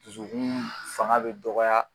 Dusukun fanga be dɔgɔya